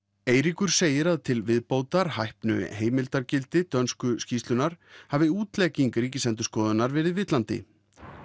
Eiríkur segir að til viðbótar hæpnu heimildargildi dönsku skýrslunnar hafi útlegging Ríkisendurskoðunar verið villandi